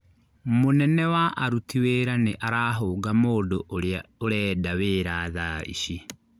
Mũnene wa aruti wĩra nĩ arahũnga mũndũ ũrĩa ĩrenda wĩra thaa ici